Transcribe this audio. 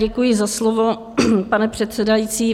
Děkuji za slovo, pane předsedající.